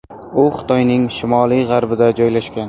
U Xitoyning shimoliy-g‘arbida joylashgan.